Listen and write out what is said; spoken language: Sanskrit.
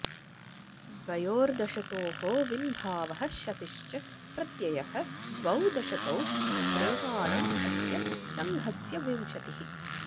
द्वयोर् दशतोः विन्भावः शतिश्च प्रत्ययः द्वौ दशतौ प्रैमाणम् अस्य सङ्घस्य विंशतिः